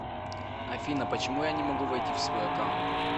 афина почему я не могу войти в свой аккаунт